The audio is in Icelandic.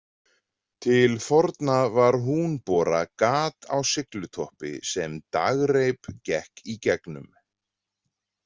Til forna var „húnbora“ gat á siglutoppi sem dragreip gekk í gegnum.